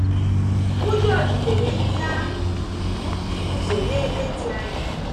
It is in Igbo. Ụjọ jidere ndị ahụ, bụ́ ndị guzo n’ebe dị anya.